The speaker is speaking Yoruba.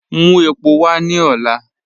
Mú èpò wà ní òlá.